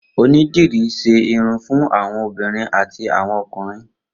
Onídìrí ṣe irun fun awọn obinrin ati awọn ọkunrin.